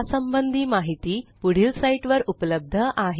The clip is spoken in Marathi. या संबंधी माहिती पुढील साईटवर उपलब्ध आहे